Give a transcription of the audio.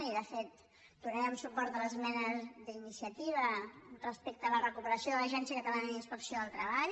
i de fet donarem suport a les esmenes d’iniciativa respecte a la recuperació de l’agència catalana de la inspecció de treball